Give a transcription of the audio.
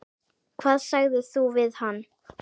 Hvað sagðir þú við hann?